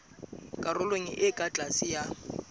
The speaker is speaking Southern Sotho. karolong e ka tlase ya